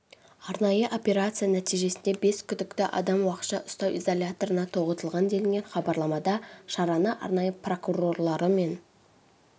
арнайы операция нәтижесінде бес күдікті адам уақытша ұстау изоляторына тоғытылған делінген хабарламада шараны арнайы прокурорлары мен